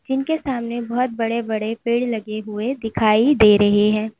जिनके सामने बहोत बड़े बड़े पेड़ लगे हुए दिखाई दे रहे हैं।